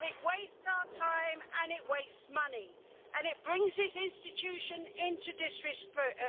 It wastes our time, it wastes money and it brings this institution into disrepute.